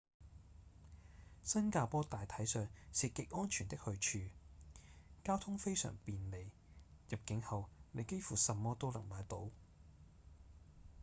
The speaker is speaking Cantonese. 新加坡大體上是極安全的去處交通非常便利入境後你幾乎什麼都能買到